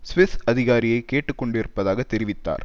Swiss அதிகாரியை கேட்டு கொண்டிருப்பதாக தெரிவித்தார்